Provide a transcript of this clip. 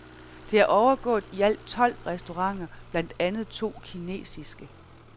Det er overgået i alt tolv restauranter, blandt andet to kinesiske.